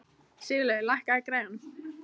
Sigurlaugur, lækkaðu í græjunum.